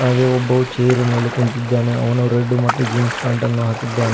ಹಾಗೆ ಒಬ್ಬವು ಚೇರ್ ಮೇಲೆ ಕುಳಿತಿದ್ದಾನೆ ಅವನು ರೆಡ್ ಮತ್ತು ಜೀನ್ಸ್ ಪ್ಯಾಂಟನ್ನು ಹಾಕಿದ್ದಾನೆ.